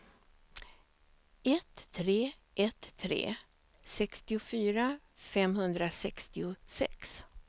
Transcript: ett tre ett tre sextiofyra femhundrasextiosex